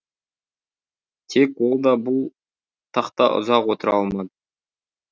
тек ол да бұл тақта ұзақ отыра алмады